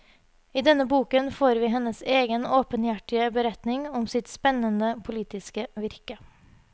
I denne boken får vi hennes egen åpenhjertige beretning om sitt spennede politiske virke.